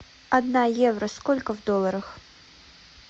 одна евро сколько в долларах